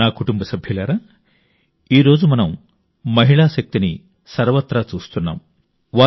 నా కుటుంబ సభ్యులారా ఈ రోజు మనం మహిళా శక్తిని చూడలేని ప్రాంతం లేదు